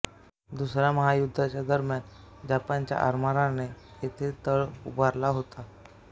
दुसऱ्या महायुद्धादरम्यान जपानच्या आरमाराने येथे तळ उभारला होता